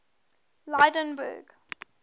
lydenburg